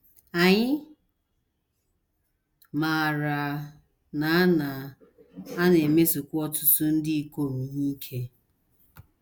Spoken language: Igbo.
Anyị maara na a na - a na - emesokwa ọtụtụ ndị ikom ihe ike.